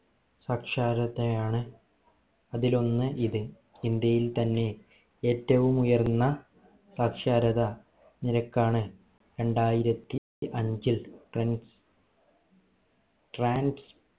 സാക്ഷാരത ആൺ അതിൽ ഒന്ന് ഇത് ഇന്ത്യയിൽ തന്നെ ഏറ്റവും ഉയർന്ന സാക്ഷാരത നിരക്ക് ആണ് രണ്ടായിരത്തി അഞ്ചിൽ trans